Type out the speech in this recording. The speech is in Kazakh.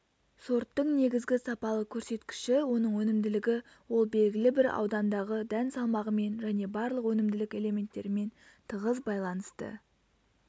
сорттың негізгі сапалық көрсеткіші оның өнімділігі ол белгілі бір аудандағы дән салмағымен және барлық өнімділік элементтерімен тығыз байланысты